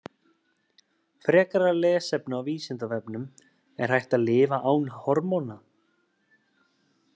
Frekara lesefni á Vísindavefnum: Er hægt að lifa án hormóna?